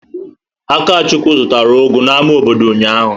Akachukwu zụtara ugu n'ámá obodo ụnyahụ.